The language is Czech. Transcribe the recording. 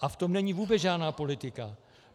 A v tom není vůbec žádná politika.